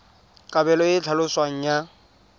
kabelo e e tlhaloswang ya